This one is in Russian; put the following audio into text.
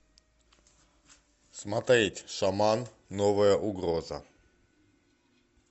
смотреть шаман новая угроза